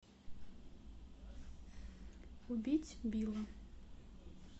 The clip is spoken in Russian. убить билла